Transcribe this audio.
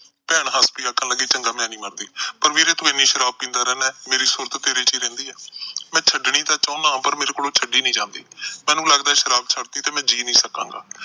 ਭੈਣ ਹੱਸਦੀ ਆਖਣ ਲੱਗੀ, ਚੰਗਾ ਮੈਂ ਨਹੀਂ ਮਰਦੀ। ਪਰ ਤੂੰ ਇੰਨੀ ਸ਼ਰਾਬ ਪੀਂਦਾ ਰਹਿੰਦਾ, ਮੇਰੀ ਸੂਰਤ ਤਾਂ ਤੇਰੇ ਚ ਹੀ ਰਹਿੰਦੀ ਏ। ਮੈਂ ਛੱਡਣੀ ਨਾ ਚਾਹੁੰਦਾ, ਪਰ ਮੇਰੇ ਤੋਂ ਛੱਡੀ ਨੀ ਜਾਂਦੀ। ਮੈਨੂੰ ਲੱਗਦਾ ਜੇ ਸ਼ਰਾਬ ਛੱਡਤੀ ਤਾਂ ਮੈਂ ਜੀਅ ਨਹੀਂ ਸਕਾਂਗਾ।